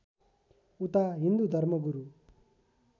उता हिन्दू धर्मगुरू